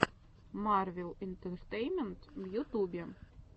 марвел интертеймент в ютубе